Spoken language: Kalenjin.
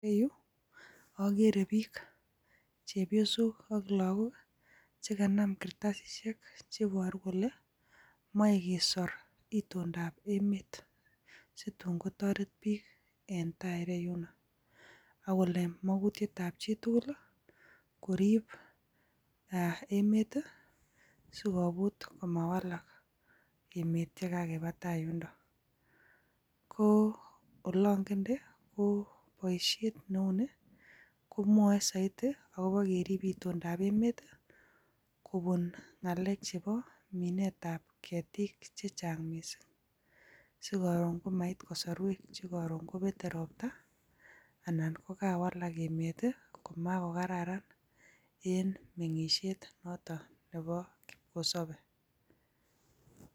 En yuh ogere biik, chepyoosok ak lakook. Chekanam kartasisiek cheiboru kole moe kesor itondob emet. Situn kotoret biik en tai ireyunoo, akolen mokutietab chitugul i koriib emet sikomuch komawalak emet yekakebaa taa yundook. Ko olongende, ko boishiet neunii komwoe soiti akobo keerib itondab emet i,kobuun ngalek chebo minetab keetik chechang missing. Sikoron komait kosorwek chekoron kobete ropta anan ko kawalaak emet komakokararan en boishiet notok neboo kipkosopei.